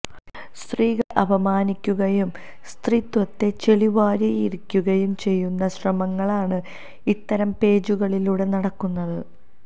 സ്ത്രീകളെ അപമാനിക്കുകയും സ്ത്രീത്വത്തെ ചെളിവാരിയെറിയുകയും ചെയ്യുന്ന ശ്രമങ്ങളാണ് ഇത്തരം പേജുകളിലുടെ നടക്കുന്നത്